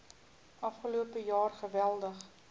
afgelope jaar geweldig